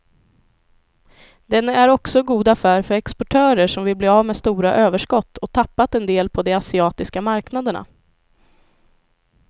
Den är också god affär för exportörer som vill bli av med stora överskott och tappat en del på de asiatiska marknaderna.